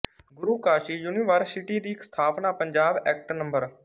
ਗੁਰੂ Kashi university ਦੀ ਸਥਾਪਨਾ Punjab act ਨੰ